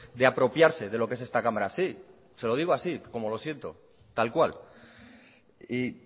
de apropiarse de lo que es esta cámara sí se lo digo así como lo siento tal cual y